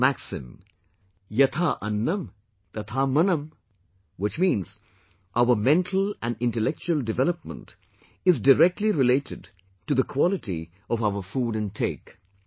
We have a maxim "Yatha Annam Tatha Mannam," which means our mental and intellectual development is directly related to the quality of our food intake